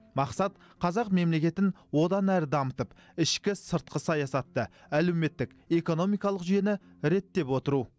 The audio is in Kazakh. мақсат қазақ мемлекетін одан әрі дамытып ішкі сыртқы саясатты әлеуметтік экономикалық жүйені реттеп отыру